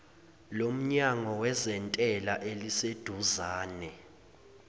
lomnyango wezentela eliseduzane